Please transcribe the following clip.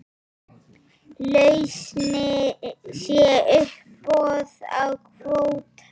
Lausnin sé uppboð á kvóta.